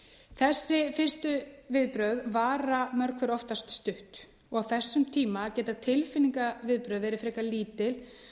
þessi fyrstu viðbrögð vara mörg hver oftast stutt og á þessum tíma geta tilfinningaviðbrögð verið frekar lítil